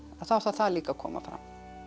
þá þarf það líka að koma fram